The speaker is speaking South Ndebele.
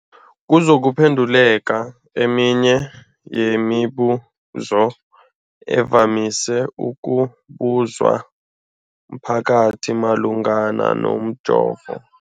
kuzokuphe nduleka eminye yemibu zo evamise ukubuzwa mphakathi malungana nomjovo.